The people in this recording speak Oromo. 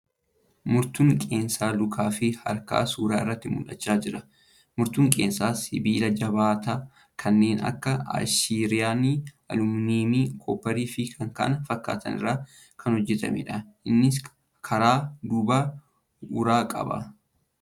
Murtuun qeensa lukaa fi harkaa suura irratti mul'achaa jira . Murtuun qeensaa sibiila jabaataa kanneen akka ayiranii, alumineemii , koopparii fi kan kana fakkaatan irraa kan hojjatamuudha . Innis karaa duubaan uraa qaba.